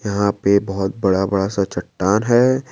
यहां पे बहोत बड़ा बड़ा सा चट्टान है।